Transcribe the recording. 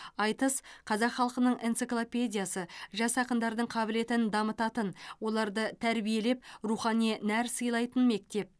айтыс қазақ халқының энциклопедиясы жас ақындардың қабілетін дамытатын оларды тәрбиелеп рухани нәр сыйлайтын мектеп